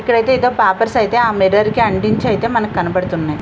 ఇక్కడైతే ఏదో పేపర్స్ అయితే ఆ మిర్రర్ కి అంటించైతే మనకి కనబడుతున్నాయి.